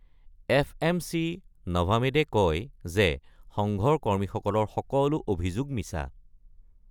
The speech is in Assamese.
এফএমচি নভামেডে কয় যে সংঘৰ কৰ্মীসকলৰ সকলো অভিযোগ মিছা।